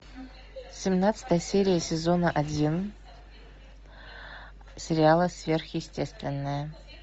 семнадцатая серия сезона один сериала сверхъестественное